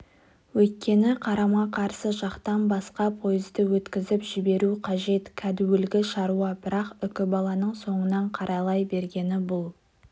өйткені қарама-қарсы жақтан басқа пойызды өткізіп жіберу қажет кәдуілгі шаруа бірақ үкібаланың соңынан қарайлай бергені бұл